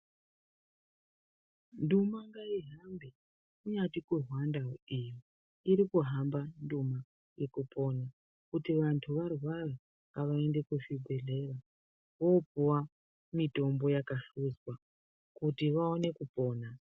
Nduma ngaihambe kunyati kuRwanda yo eeh iri kuhamba nduma yekupona. Kuti vantu varwara ngavaende kuzvibhendlera voopuwa mitombo yakahluzwa kuti vaone kupona.